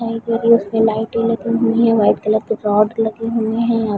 क्योंकि उसमे लाइटें लगी हुई है वाइट कलर के रोड लगे हुए है।